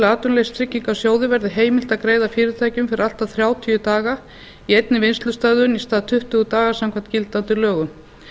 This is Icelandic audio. atvinnuleysistryggingasjóði verði heimilt að greiða fyrirtækjum fyrir allt að þrjátíu daga í einni vinnslustöðvun í stað tuttugu daga samkvæmt gildandi lögum